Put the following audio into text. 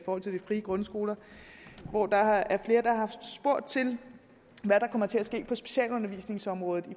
forhold til de frie grundskoler hvor der er flere der har spurgt til hvad der kommer til at ske på specialundervisningsområdet